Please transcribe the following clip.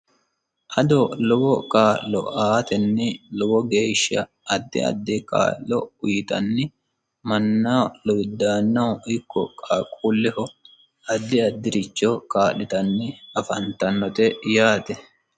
Ado lowo kaa'lo aateni lowo geeshsha addi addi kaa'lo uyiitanni mannaho lowidaannaho ikko qaaqquleho addi addiricho kaa'litanni afantannote yaate.